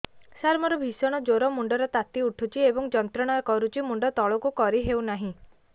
ସାର ମୋର ଭୀଷଣ ଜ୍ଵର ମୁଣ୍ଡ ର ତାତି ଉଠୁଛି ଏବଂ ଯନ୍ତ୍ରଣା କରୁଛି ମୁଣ୍ଡ ତଳକୁ କରି ହେଉନାହିଁ